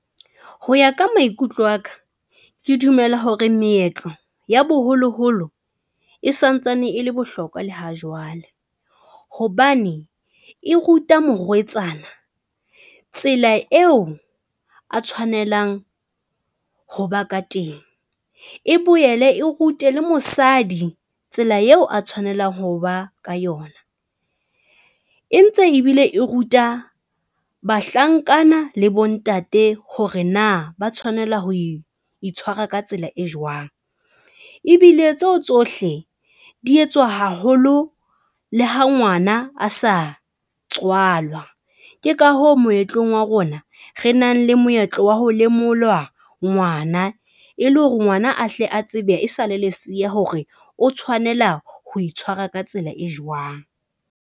Ho ya ka maikutlo aka ke dumela hore meetlo ya boholoholo e santsane ele bohlokwa le ha jwale, hobane e ruta morwetsana tsela eo a tshwanelang hoba ka teng, e boele e rute le mosadi tsela eo a tshwanelang ho ba ka yona e ntse ebile e ruta bahlankana le bontate hore na ba tshwanela ho itshwara ka tsela e jwang ebile tseo tsohle di etswa haholo. Le ha ngwana a sa tswalwa. Ke ka hoo moetlong wa rona re nang le moetlo wa ho lemolwa ngwana. E le hore ngwana a hle a tsebe e sale leseya hore o tshwanela ho itshwara ka tsela e jwang.